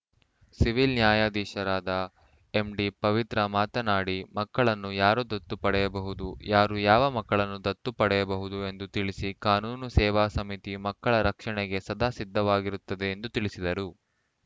civil ನ್ಯಾಯಾಧೀಶರಾದ ಎಂಡಿಪವಿತ್ರ ಮಾತನಾಡಿ ಮಕ್ಕಳನ್ನು ಯಾರು ದತ್ತು ಪಡೆಯಬಹುದು ಯಾರು ಯಾವ ಮಕ್ಕಳನ್ನು ದತ್ತು ಪಡೆಯಬಹುದು ಎಂದು ತಿಳಿಸಿ ಕಾನೂನು ಸೇವಾ ಸಮಿತಿ ಮಕ್ಕಳ ರಕ್ಷಣೆಗೆ ಸದಾ ಸಿದ್ದವಾಗಿರುತ್ತದೆ ಎಂದು ತಿಳಿಸಿದರು